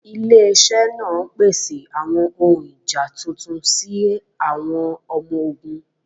Ịlẹ̀-iṣẹ̀ n pèsè àwọn ọ̀hun ìjá tuntun sí àwọn ọmọ-ọ̀gùn.